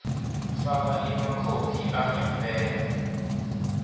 faka emakhophi angempela